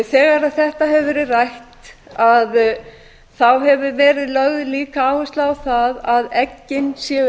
þegar þetta hefur verið rætt hefur verið lögð líka áhersla á það að eggin séu